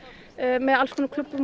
með alls konar klúbbum